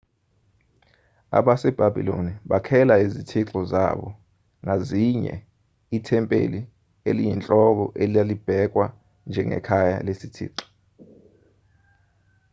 abasebhabhiloni bakhela izithixo zabo ngazinye ithempeli eliyinhloko elalibhekwa njengekhaya lesithixo